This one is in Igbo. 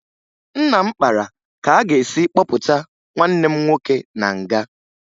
Nna m kpara ka a ga-esi kpọpụta nwanne m nwoke na nga